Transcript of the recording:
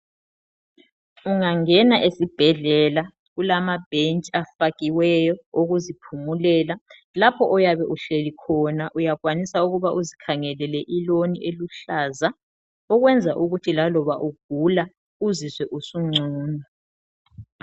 Ungangena ezibhedlela kulamabhentshi abafakiweyo awokuziphumulela. Lapho oyabe uhlezi khona uyakwanisa ukuba uzikhangelele iloni eluhlaza ukwenza ukuthi laloba ugula uzizwe usungcono.